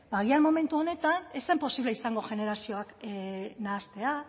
agian momentuan ez zen posible izango generazioak nahastea